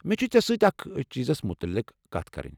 مےٚ چھِ ژےٚ سۭتۍ أکھ چیٖزس متعلق کتھ کرٕنۍ۔